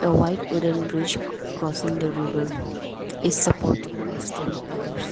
the white wooden bridge c crossing the river is supported by stone pillars.